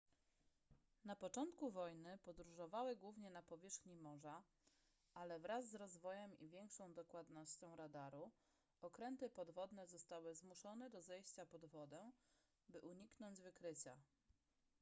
na początku wojny podróżowały głównie na powierzchni morza ale wraz z rozwojem i większą dokładnością radaru okręty podwodne zostały zmuszone do zejścia pod wodę by uniknąć wykrycia